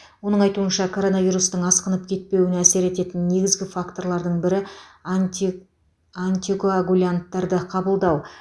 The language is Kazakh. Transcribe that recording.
оның айтуынша коронавирустың асқынып кетпеуіне әсер ететін негізгі факторлардың бірі анти антикоагулянттарды қабылдау